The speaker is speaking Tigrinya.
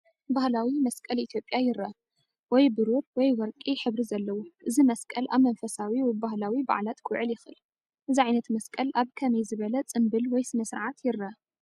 ባህላዊ መስቀል ኢትዮጵያ ይረአ፣ ወይ ብሩር ወይ ወርቂ ሕብሪ ዘለዎ። እዚ መስቀል ኣብ መንፈሳዊ ወይ ባህላዊ በዓላት ክውዕል ይኽእል። እዚ ዓይነት መስቀል ኣብ ከመይ ዝበለ ጽምብል ወይ ስነ-ስርዓት ይረአ?